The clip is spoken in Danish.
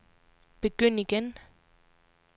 begynd igen